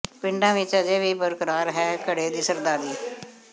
ਪਿੰਡਾਂ ਵਿੱਚ ਅਜੇ ਵੀ ਬਰਕਰਾਰ ਹੈ ਘੜੇ ਦੀ ਸਰਦਾਰੀ